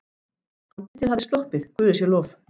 Andlitið hafði sloppið, guði sé lof.